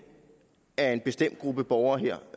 af en bestemt gruppe borgere her